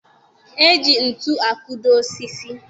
E ji ntu akụdo osisi